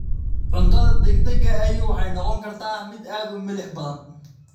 Cuntada degdega ahi waxay noqon kartaa mid aad u milix badan.